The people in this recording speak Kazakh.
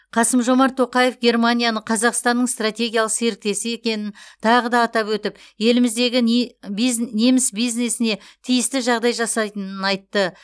қасым жомарт тоқаев германияны қазақстанның стратегиялық серіктесі екенін тағы да атап өтіп еліміздегі неміс бизнесіне тиісті жағдай жасайтынын айтты